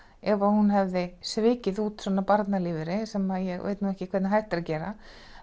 ef hún hefði svikið út svona barnalífeyri sem ég veit nú ekki hvernig hægt er að gera